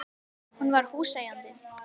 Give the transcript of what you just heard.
Hún var húseigandinn!